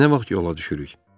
Nə vaxt yola düşürük?